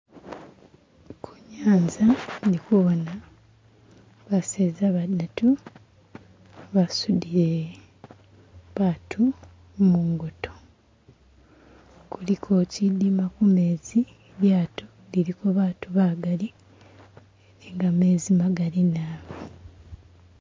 Kunyanza indikubona baseza badatu basudile batu mungoto kuliko kyidima kumezi lyato liliko batu bagali ni gamezi magali nabi